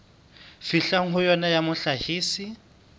fihlwang ho yona ya mohlahisi